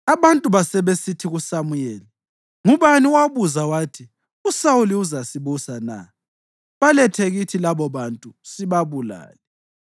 Abantu basebesithi kuSamuyeli, “Ngubani owabuza wathi, ‘USawuli uzasibusa na?’ Balethe kithi labobantu sibabulale.”